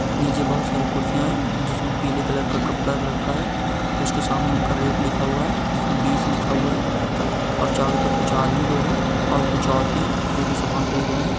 नीचे बोहोत सारी कुरसिया है जिसमे पीला कलर का कपड़ा रखा है उसके सामने उन का रेट लिखा हुआ है जिसमे बीस लिखा हुआ है और चारों तरफ कुछ आदमी लोग है और कुछ औरतै है जो की सामन खरीद रहे है।